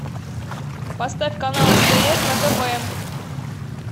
поставь канал стс на тв